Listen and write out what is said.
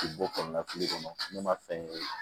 K'i bɔ kɔlɔn na fili kɔnɔ ne ma fɛn ye